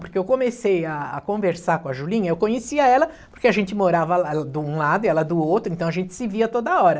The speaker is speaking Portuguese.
Porque eu comecei a a conversar com a Julinha, eu conhecia ela porque a gente morava de um lado e ela do outro, então a gente se via toda hora.